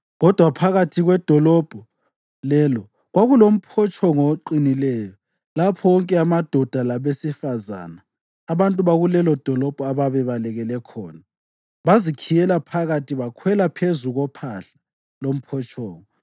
Kodwa phakathi kwedolobho lelo kwakulomphotshongo oqinileyo lapho wonke amadoda labesifazane, abantu bakulelodolobho ababebalekele khona. Bazikhiyela phakathi bakhwela phezu kophahla lomphotshongo.